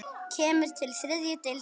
Kemur til þriðju deildar karla?